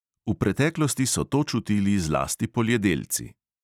V preteklosti so to čutili zlasti poljedelci.